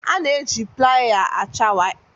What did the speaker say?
A na-eji playa acha waya.